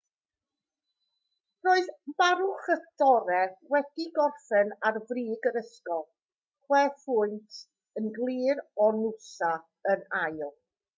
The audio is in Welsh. roedd maroochydore wedi gorffen ar frig yr ysgol chwe phwynt yn glir o noosa yn ail